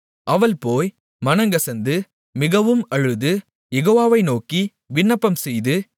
அவள் போய் மனங்கசந்து மிகவும் அழுது யெகோவாவை நோக்கி விண்ணப்பம்செய்து